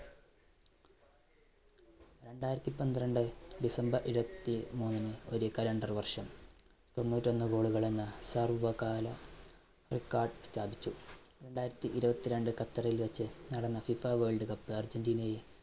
രണ്ടായിരത്തി പന്ത്രണ്ട് december ഇരുപത്തിമൂന്നിന് ഒരു calendar വർഷം തൊണ്ണൂറ്റൊന്ന് goal കൾ എന്ന സർവ്വകാല record സ്ഥാപിച്ചു. രണ്ടായിരത്തി ഇരുപത്തി രണ്ട്‍ ഖത്തറിൽ വെച്ച് നടന്ന ഫിഫ world cup അർജൻറീനയെ